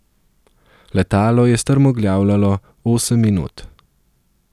Letalo je strmoglavljalo osem minut.